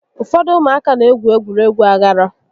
Ụfọdụ ụmụaka n'egwu egwuregwu aghara